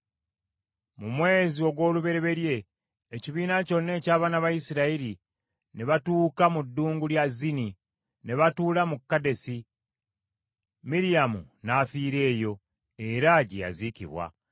Mu mwezi ogw’olubereberye, ekibiina kyonna eky’abaana ba Isirayiri, ne batuuka mu ddungu lya Zini, ne batuula mu Kadesi. Miryamu n’afiira eyo, era gye yaziikibwa.